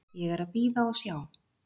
Ég er að bíða og sjá,